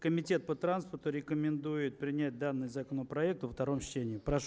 комитет по транспорту рекомендует применять данный законопроект во втором чтении прошу